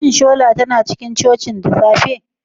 Shi shola tana cikin cocin da safe?